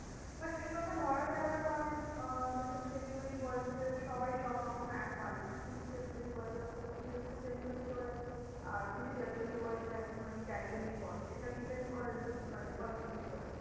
আর সে গুলোকে ধরা যায় না কারণ আহ যেহেতু কি delivery boys দের সবাই সব রকম এক হয় না। কিছু delivery boys রা খুব seriously delivery করে। আর কিছু delivery boys রা একটুখানি casually করে সেটা depend করে মানে persion to person